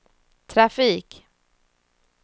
trafik